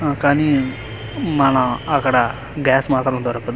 ఆ కాని మన అక్కడ గ్యాస్ మాత్రం దొరకదు.